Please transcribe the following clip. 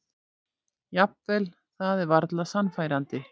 Jafnvel það er varla sannfærandi.